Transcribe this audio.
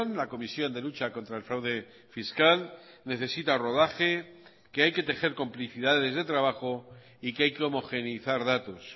la comisión de lucha contra el fraude fiscal necesita rodaje que hay que tejer complicidades de trabajo y que hay que homogeneizar datos